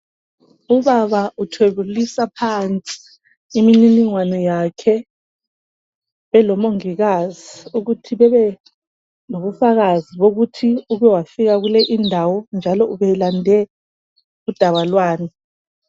Ubaba uthwebulisa phansi imininingwano yakhe elomongikazi, ukuthi bebe lobufakazi bokuthi uke wafika kule indawo njalo ube lande udaba lwani.